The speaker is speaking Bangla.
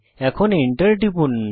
এখন এন্টার টিপুন